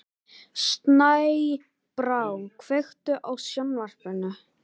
Snæbrá, kveiktu á sjónvarpinu.